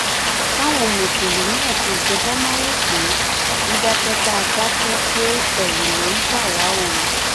káwọn mùsùlùmí àti ìjọba má rò pé dídákẹ tá a dákẹ pé ẹrù ló ń bà wá o